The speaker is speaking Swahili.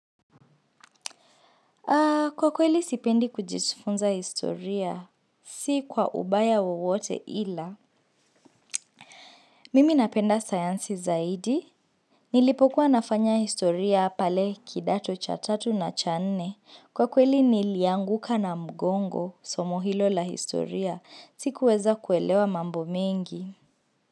Kwa kweli sipendi kujifunza historia, si kwa ubaya wowote ila. Mimi napenda sayansi zaidi. Nilipokuwa nafanya historia pale kidato cha tatu na cha nne. Kwa kweli nilianguka na mgongo, somo hilo la historia, sikuweza kuelewa mambo mengi.